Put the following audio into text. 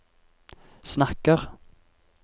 snakker